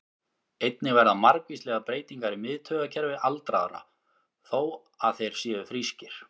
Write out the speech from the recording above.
Einnig verða margvíslegar breytingar í miðtaugakerfi aldraðra, þó að þeir séu frískir.